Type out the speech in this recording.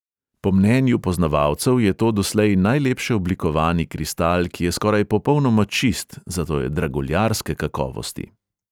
Po mnenju poznavalcev je to doslej najlepše oblikovani kristal, ki je skoraj popolnoma čist, zato je draguljarske kakovosti.